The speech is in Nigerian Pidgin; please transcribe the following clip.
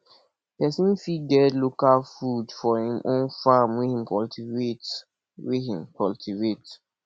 pesin fit get local food for im own farm wey him cultivate wey him cultivate